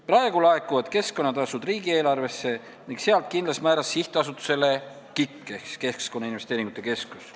Praegu laekuvad keskkonnatasud riigieelarvesse ning sealt kindlas määras sihtasutusele KIK ehk siis Keskkonnainvesteeringute Keskusele.